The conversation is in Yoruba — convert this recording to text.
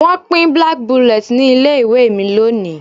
Wọ́n pín black bullet ní ilé ìwé mi lónìí